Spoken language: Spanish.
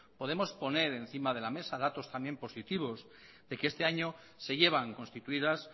podemos poner encima de la mesa datos también positivos de que este año se llevan constituidas